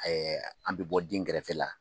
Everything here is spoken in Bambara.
an bɛ bɔ dingɛrɛfɛ la.